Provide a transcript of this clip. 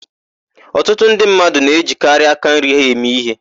Ọtụtụ ndị mmadụ na-ejikarị aka nri ha eme íhé.